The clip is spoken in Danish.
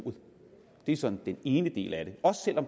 det er sådan den ene del af det også selv om